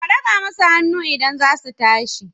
Ka daga masu hannu idan za su tashi.